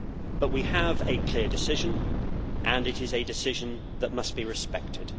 But we have a clear decision, and it is a decision that must be respected.